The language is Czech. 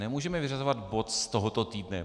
Nemůžeme vyřazovat bod z tohoto týdne.